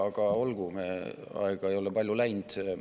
Aga olgu, aega ei ole palju läinud.